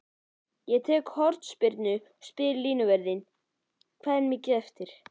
Ég tek hornspyrnu og spyr línuvörðinn: Hvað er mikið eftir?